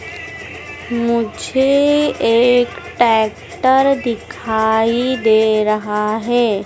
मुझे एक ट्रैक्टर दिखाई दे रहा हैं।